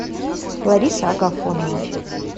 лариса агафонова